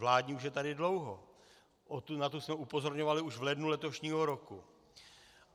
Vládní už je tady dlouho, na tu jsme upozorňovali už v lednu letošního roku.